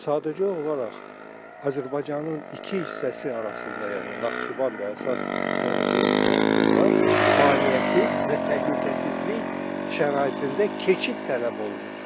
Sadəcə olaraq Azərbaycanın iki hissəsi arasında, yəni Naxçıvan və əsas ərazinin arasında maneəsiz və təhlükəsizlik şəraitində keçid tələb olunur.